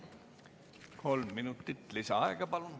Kolm minutit lisaaega, palun.